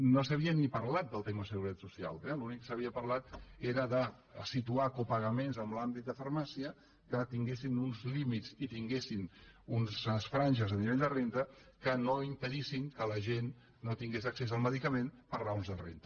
no s’havia ni parlat del tema seguretat social eh l’únic que s’havia parlat era de situar copagaments en l’àmbit de farmàcia que tinguessin uns límits i tinguessin unes franges a nivell de renda que no impedissin que la gent no tingués accés al medicament per raons de renda